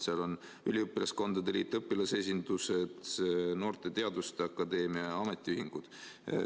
Sellega on seotud üliõpilaskondade liit, õpilasesindused, noorte teaduste akadeemia, ametiühingud.